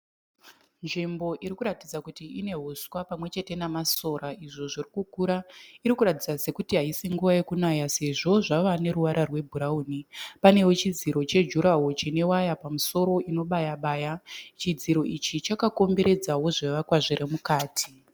Nzvimbo irikuratidza kuti inehuswa pamwechete namasora izvo zvirikukura. Irikuratidza sekuti haisi nguva yekunaya Sezvo zvave neruvara rwe bhurauni. Panewo chidziro che jura woro chine waya pamusoro inobaya-baya . Chidziro ichi chaka komberedzawo zvivakwa zviri mukati.